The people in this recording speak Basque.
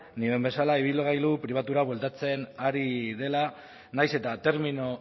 nioen bezala ibilgailu pribatura bueltatzen ari dela nahiz eta termino